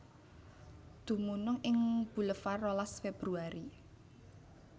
Dumunung ing Bulevar rolas Februari